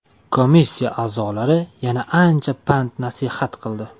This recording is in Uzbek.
Komissiya a’zolari yana ancha pand-nasihat qildi.